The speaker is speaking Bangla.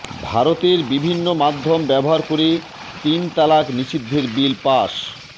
ভারতে বিভিন্ন মাধ্যম ব্যবহার করে তিন তালাক নিষিদ্ধের বিল পাস